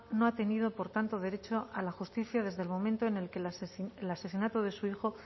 no ha tenido por tanto derecho a la justicia desde el momento en el que el asesinato de su hijo